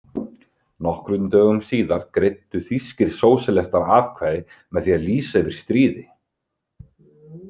Nokkrum dögum síðar greiddu þýskir sósíalistar atkvæði með því að lýsa yfir stríði.